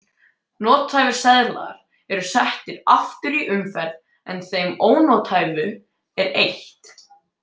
Nothæfir seðlar eru settir aftur í umferð en þeim ónothæfu er eytt.